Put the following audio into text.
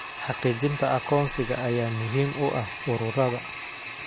Xaqiijinta aqoonsiga ayaa muhiim u ah ururada.